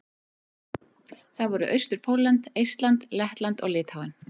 Það voru: Austur-Pólland, Eistland, Lettland og Litháen.